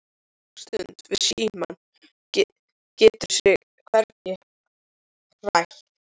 Svenni situr nokkra stund við símann, getur sig hvergi hrært.